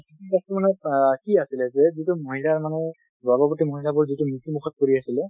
কি আছিলে যে যিটো মহিলাৰ মানে গৰ্ভৱতী মহিলা বোৰ যিহেটো মৃত্যুমুখত পৰি আছে